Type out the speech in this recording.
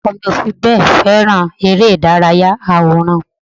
Ọkọ mi ò fi bẹ́ẹ̀ fèràn eré ìdárayá àwòránhùn